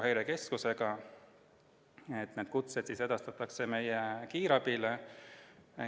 Häirekeskusega lepiti kokku, et kutsed edastatakse meie kiirabile.